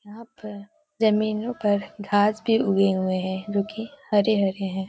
यहाँ पर जमीनों पर घास भी उगे हुए हैं जो कि हरे-हरे हैं।